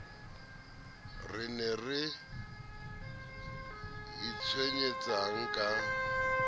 re ne re itshwenyetsang ka